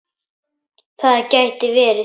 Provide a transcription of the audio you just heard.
Það gæti verið